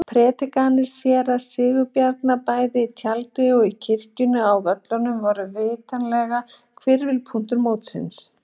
Prédikanir séra Sigurbjarnar bæði í tjaldinu og kirkjunni á Völlum voru vitanlega hvirfilpunktar mótsins.